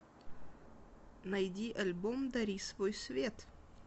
найди альбом дари свой свет